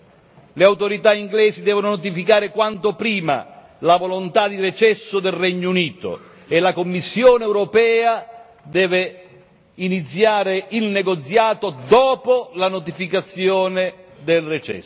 Le autorità inglesi devono notificare quanto prima la volontà di recesso del Regno Unito e la Commissione europea deve iniziare il negoziato dopo la notificazione del recesso.